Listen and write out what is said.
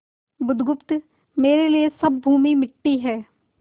बुधगुप्त मेरे लिए सब भूमि मिट्टी है